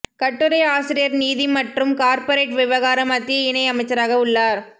கட்டுரை ஆசிரியர் நிதி மற்றும் கார்ப்பரேட் விவகார மத்திய இணை அமைச்சராக உள்ளார்